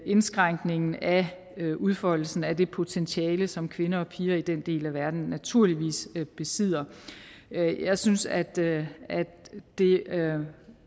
indskrænkningen af udfoldelsen af det potentiale som kvinder og piger i den del af verden naturligvis besidder jeg synes at det